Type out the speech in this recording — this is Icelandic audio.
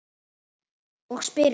Og spyr mig